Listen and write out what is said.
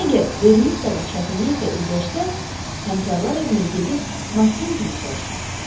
Əgər Ver missa da çətinliklə üzləşsəniz, həmkarlar evinə gedib Makkenzini soruşun.